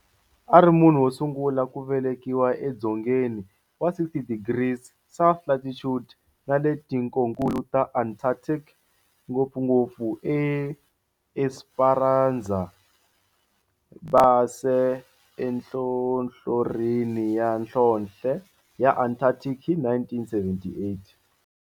A ri munhu wo sungula ku velekiwa edzongeni wa 60 degrees south latitude nale ka tikonkulu ra Antarctic, ngopfungopfu eEsperanza Base enhlohlorhini ya nhlonhle ya Antarctic hi 1978.